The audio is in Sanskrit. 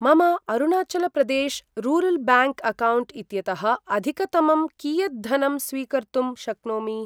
मम अरुणाचलप्रदेश् रूरल् ब्याङ्क् अक्कौण्ट् इत्यतः अधिकतमं कियद्दनं स्वीकर्तुं शक्नोमि?